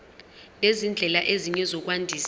nezindlela ezinye zokwandisa